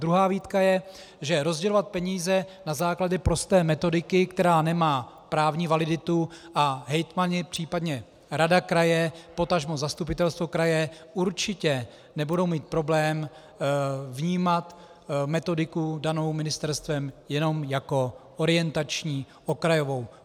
Druhá výtka je, že rozdělovat peníze na základě prosté metodiky, která nemá právní validitu, a hejtmani, případně rada kraje, potažmo zastupitelstvo kraje určitě nebudou mít problém vnímat metodiku danou ministerstvem jenom jako orientační, okrajovou.